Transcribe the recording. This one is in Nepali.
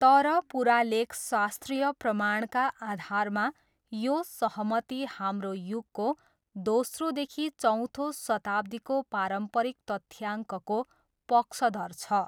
तर, पुरालेखशास्त्रीय प्रमाणका आधारमा यो सहमति हाम्रो युगको दोस्रोदेखि चौथो शताब्दीको पारम्परिक तथ्याङ्कको पक्षधर छ।